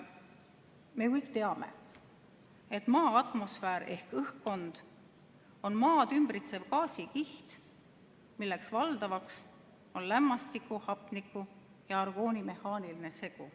Me ju kõik teame, et Maa atmosfäär ehk õhkkond on maad ümbritsev gaasikiht, milles valdavaks on lämmastiku, hapniku ja argooni mehaaniline segu.